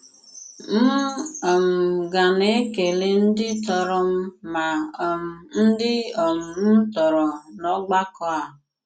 M̀ um ga-na-ekele ndị tọrọ m ma um ndị um m tọrọ n’ògbàkọ̀ a.